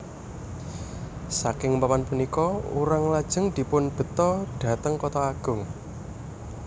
Saking papan punika urang lajeng dipun beto dhateng Kota Agung